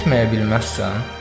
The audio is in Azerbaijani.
Getməyə bilməzsən?